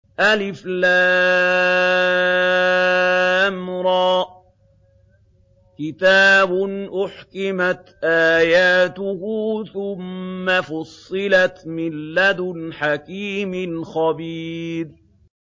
الر ۚ كِتَابٌ أُحْكِمَتْ آيَاتُهُ ثُمَّ فُصِّلَتْ مِن لَّدُنْ حَكِيمٍ خَبِيرٍ